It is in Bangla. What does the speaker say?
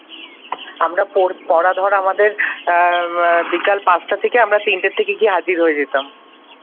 আমরা পড়া ধর আমাদের বিকাল পাঁচটা থেকে আমরা তিনটা থেকে গিয়ে হাজির হয়ে যেতাম।